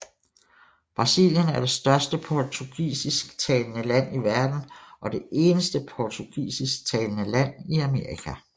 Brasilien er det største portugisisktalende land i verden og det eneste portugisisktalende land i Amerika